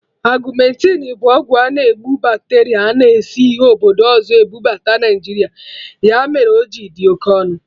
Augmentin bụ ọgwụ na-egbu bacteria a na esi obodo ọzọ ebubata Naijiria, ya mere o ji adị oké ọnụ